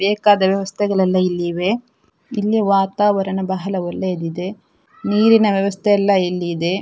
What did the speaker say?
ಬೇಕಾದ ವ್ಯವಸ್ಥೆಗಳೆಲ್ಲ ಇಲ್ಲಿ ಇವೆ ಇಲ್ಲಿಯ ವಾತಾವರಣ ಬಹಳ ಒಳ್ಳೆಯದಿದೆ ನೀರಿನ ವ್ಯವಸ್ಥೆ ಎಲ್ಲ ಇಲ್ಲಿ ಇದೆ.